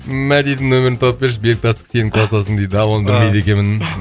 мәдидің нөмерін тауып берші бектасов сенің кластасың дейді а оны білмейді екенмін